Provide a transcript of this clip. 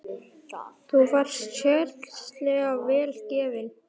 Þú varst sérlega vel gefin.